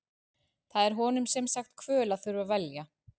Það er honum sem sagt kvöl að þurfa að velja.